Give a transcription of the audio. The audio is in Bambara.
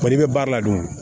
Kɔni bɛ baara la dun